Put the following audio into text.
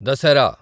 Dasara